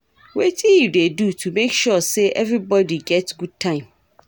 Wetin you dey do to make sure say everybody get good time?